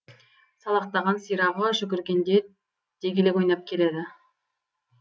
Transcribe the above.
салақтаған сирағы жүгіргенде дегелек ойнап келеді